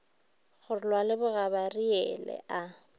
go lwa le bogabariele a